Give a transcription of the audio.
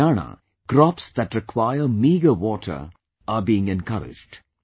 In Haryana, crops that require meagre water are being encouraged